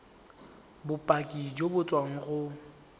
bopaki jo bo tswang go